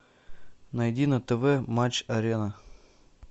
найди на тв матч арена